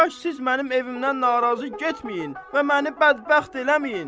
Kaş siz mənim evimdən narazı getməyin və məni bədbəxt eləməyin.